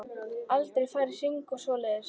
Aldrei farið í hringi og svoleiðis.